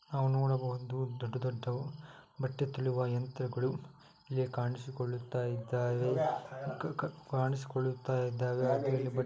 ನಾವು ನೋಡಬಹುದು ದೊಡ್ಡ ದೊಡ್ಡವು ಬಟ್ಟೆ ತೊಳೆಯುವ ಯಂತ್ರಗಳು ಇಲ್ಲಿ ಕಾಣಿಸಿಕೊಳ್ಳುತ್ತಾ ಇದ್ದಾವೆ ಕಾ ಕಾ ಕಾಣಿಸಿಕೊಳ್ಳುತ್ತಾ ಇದ್ದಾವೆ ಹಾಗೇ ಬಟ್ಟೆ --